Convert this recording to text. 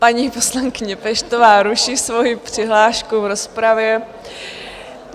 Paní poslankyně Peštová ruší svoji přihlášku v rozpravě.